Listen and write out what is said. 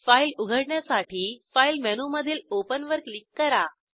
file उघडण्यासाठी file मेनूमधील open वर क्लिक करा